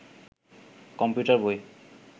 computer বই